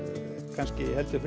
kannski heldur